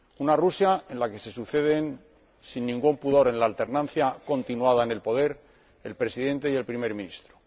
Una Rusia en la que se suceden, sin ningún pudor, en la alternancia continuada en el poder, el Presidente y el Primer Ministro.